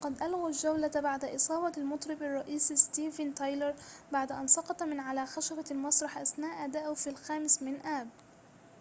وقد الغوا الجولة بعد إصابة المطرب الرئيسي ستيفن تايلر بعد أن سقط من على خشبة المسرح أثناء أدائه في الخامس من آب